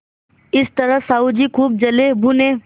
इस तरह साहु जी खूब जलेभुने